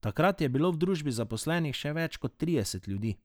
Takrat je bilo v družbi zaposlenih še več kot trideset ljudi.